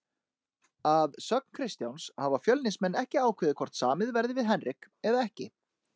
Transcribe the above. Að sögn Kristjáns hafa Fjölnismenn ekki ákveðið hvort samið verði við Henrik eða ekki.